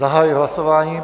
Zahajuji hlasování.